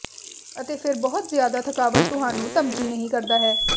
ਅਤੇ ਫਿਰ ਬਹੁਤ ਜ਼ਿਆਦਾ ਥਕਾਵਟ ਤੁਹਾਨੂੰ ਧਮਕੀ ਨਹੀ ਕਰਦਾ ਹੈ